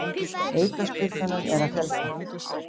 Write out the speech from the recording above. Aukaspyrnunum er að fjölga